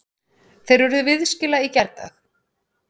Þeir urðu viðskila í gærdag.